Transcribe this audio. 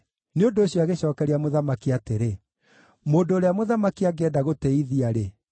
Nĩ ũndũ ũcio agĩcookeria mũthamaki atĩrĩ, “Mũndũ ũrĩa mũthamaki angĩenda gũtĩĩithia-rĩ,